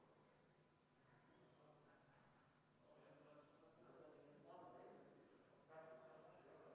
Palun Vabariigi Valimiskomisjonil lugeda hääled üle ka avalikult.